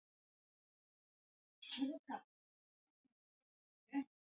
Thomas fann til feginleika, garnirnar höfðu byrjað að gaula um leið og hann vaknaði.